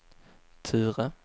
Ture